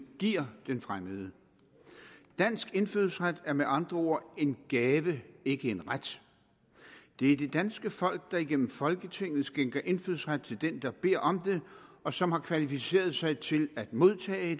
giver den fremmede dansk indfødsret er med andre ord en gave ikke en ret det er det danske folk der igennem folketinget skænker indfødsret til den der beder om det og som har kvalificeret sig til at modtage